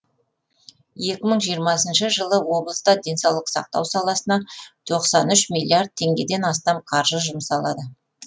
екі мың жиырмасыншы жылы облыста денсаулық сақтау саласына тоқсан үш миллиард теңгеден астам қаржы жұмсалады